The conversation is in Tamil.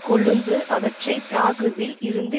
கொழும்பு அவற்றை பிராகுவில் இருந்து